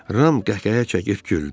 Ram qəhqəhə çəkib güldü.